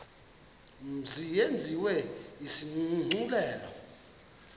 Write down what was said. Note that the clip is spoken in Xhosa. mzi yenziwe isigculelo